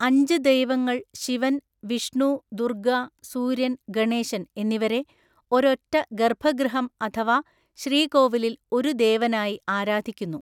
അഞ്ച് ദൈവങ്ങൾ ശിവൻ, വിഷ്ണു, ദുർഗ്ഗ, സൂര്യൻ, ഗണേശൻ എന്നിവരെ ഒരൊറ്റ ഗർഭഗൃഹം അഥവാ ശ്രീകോവിലിൽ ഒരു ദേവനായി ആരാധിക്കുന്നു.